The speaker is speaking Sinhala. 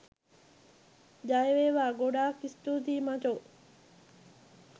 ජය වේවා ගොඩක් ස්තුතියි මචෝ.